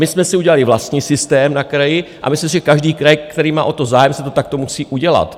My jsme si udělali vlastní systém na kraji a myslím si, že každý kraj, který má o to zájem, si to takto musí udělat.